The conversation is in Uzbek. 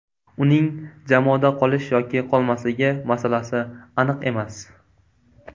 Uning jamoada qolish yoki qolmasligi masalasi aniq emas.